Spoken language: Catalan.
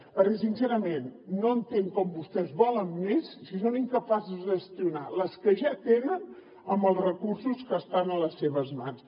perquè sincerament no entenc com vostès en volen més si són incapaços de gestionar les que ja tenen amb els recursos que estan a les seves mans